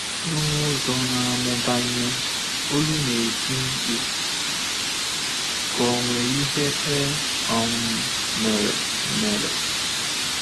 N’ụzọ na-amụbanye, olu na-eti mkpu ka onwe ihe e um mere. mere.